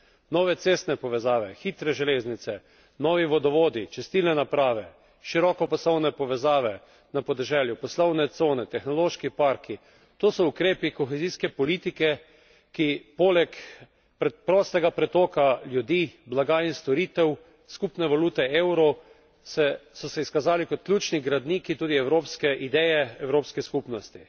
Nove cestne povezave, hitre železnice, novi vodovodi, čistilne naprave, širokopasovne povezave na podeželju, poslovne cone, tehnološki parki to so ukrepi kohezijske politike, ki poleg prostega pretoka ljudi, blaga in storitev, skupne valute evro, so se izkazali kot ključni gradniki tudi evropske ideje, Evropske skupnosti.